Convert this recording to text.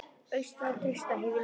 Austra og Trausta, hef ég nefnt.